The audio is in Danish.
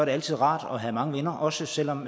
altid rart at have mange venner også selv om